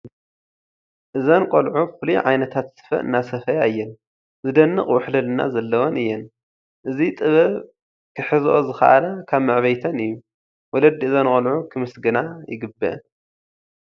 እዘን ቆልዑ ፍሉይ ዓይነታት ስፈ እናሰፈያ እየን፡፡ ዝደንቕ ውሕልልና ዘለወን እየን፡፡ እዚ ጥበብ ክሕዘኦ ዝከኣላ ካብ መዕበይተን እዩ፡፡ ወለዲ እዘን ቆልዑ ክምስገና ይግብአን፡፡